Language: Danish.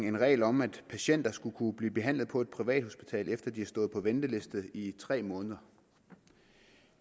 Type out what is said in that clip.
en regel om at patienter skulle kunne blive behandlet på et privathospital efter at de havde stået på venteliste i tre måneder